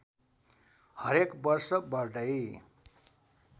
हरेक वर्ष बढ्दै